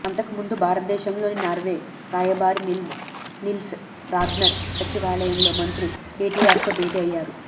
అంతకు ముందు భారతదేశంలోని నార్వే రాయబారి నిల్స్ రాగ్నర్ సచివాలయంలో మంత్రి కెటిఆర్తో భేటి అయ్యారు